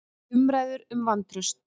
Umræður um vantraust